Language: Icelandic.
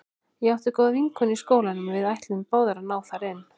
Ég átti góða vinkonu í skólanum og við ætluðum báðar að ná þar inn.